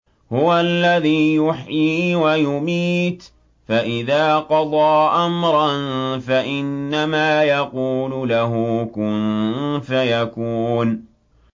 هُوَ الَّذِي يُحْيِي وَيُمِيتُ ۖ فَإِذَا قَضَىٰ أَمْرًا فَإِنَّمَا يَقُولُ لَهُ كُن فَيَكُونُ